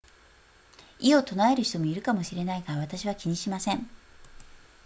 異を唱える人もいるかもしれないが私は気にしません